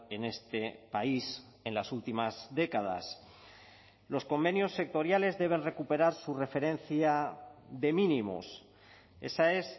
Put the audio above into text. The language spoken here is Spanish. en este país en las últimas décadas los convenios sectoriales deben recuperar su referencia de mínimos esa es